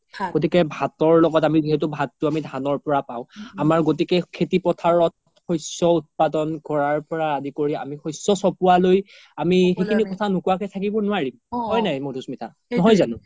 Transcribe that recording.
গতিকে ভাতৰ লগত আমি যিহেতো আমি ভাততো আমি ধানৰ পোৰা পাও আমাৰ গ্তিকে খেতি পথাৰত শস্য উত্পাদন কৰাৰ পৰা আদি কৰি আমি শস্য চ্পোৱা লৈ আমি সিখিনি কথা নোকোৱা কে থাকিব নুৱাৰি হয় নাই মাধুস্মিতা নহয় জানো ?